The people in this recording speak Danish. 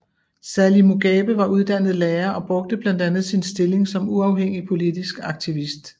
Sally Mugabe var uddannet lærer og brugte blandt andet sin stilling som uafhængig politisk aktivist